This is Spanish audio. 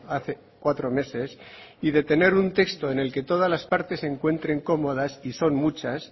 hace cuatro meses y de tener un texto en el que todas las partes se encuentren cómodas y son muchas